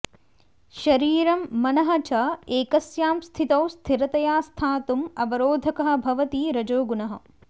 शरीरं मनः च एकस्यां स्थितौ स्थिरतया स्थातुम् अवरोधकः भवति रजोगुणः